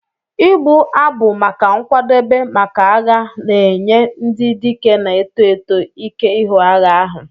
"Ịgbu abụ maka nkwadebe maka agha na-enye ndị dike na-eto eto ike ihu agha ahụ.